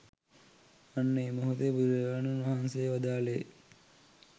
අන්න ඒ මොහොතේ බුදුරජාණන් වහන්සේ වදාළේ